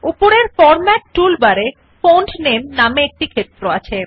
উপরের format tool বারে font নামে নামে একটি ক্ষেত্র আছে